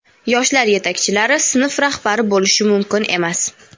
yoshlar yetakchilari sinf rahbari bo‘lishi mumkin emas.